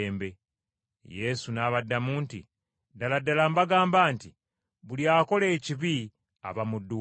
Yesu n’abaddamu nti, “Ddala ddala mbagamba nti buli akola ekibi aba muddu wa kibi.